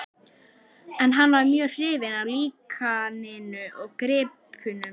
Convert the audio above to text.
En hann var mjög hrifinn af líkaninu og gripnum.